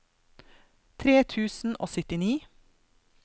tre tusen og syttini